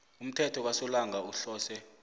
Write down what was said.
umthelo kasolanga uhlose